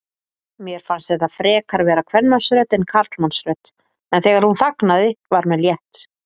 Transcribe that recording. Mér fannst þetta frekar vera kvenmannsrödd en karlmannsrödd, en þegar hún þagnaði var mér létt.